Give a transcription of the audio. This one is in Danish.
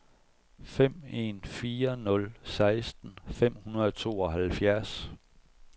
fem en fire nul seksten fem hundrede og tooghalvfjerds